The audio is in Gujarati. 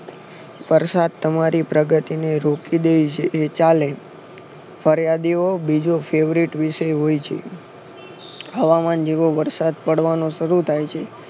પરસાબ તમારી પ્રગતિની રુકી દે છે એ ચાલે ફરિયાદીઓ બીજો favouite વિષય હોય છે હવામાન જેવો વરસાદ પાડવાનો શરૂ થાય છે